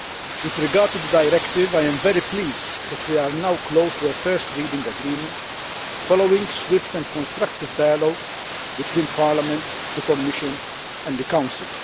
With regard to the directive, I am very pleased that we are now close to a first reading agreement following swift and constructive dialogue between Parliament, the Commission and the Council.